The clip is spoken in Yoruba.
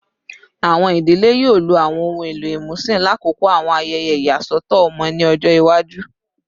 Awọn idile yoo lo awọn ohun elo imusin lakoko awọn ayẹyẹ iyasọtọ ọmọ ni ọjọ iwaju